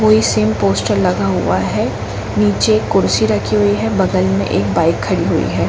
कोई same poster लगा हुआ है नीचे एक कुर्सी रखी हुई है बगल में एक बाइक खड़ी हुइ है।